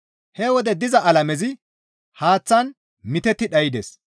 He wode diza alamezi haaththan mitetti dhaydes.